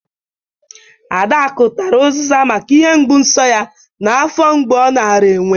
Adakụ tara ụzịza maka ihe mgbụ nso ya na afọ mgbụ ọ nara enwe